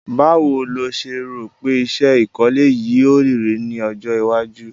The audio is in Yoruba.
Báwo lo se rò pe isẹ́ ìkọ́lé yio rí ni ojó iwájú